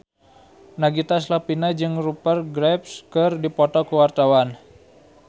Nagita Slavina jeung Rupert Graves keur dipoto ku wartawan